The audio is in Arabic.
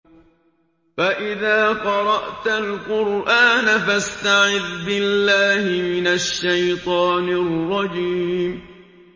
فَإِذَا قَرَأْتَ الْقُرْآنَ فَاسْتَعِذْ بِاللَّهِ مِنَ الشَّيْطَانِ الرَّجِيمِ